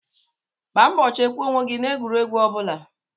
Gbaa mbọ chekwaa onwe gị n'egwuregwu ọbụla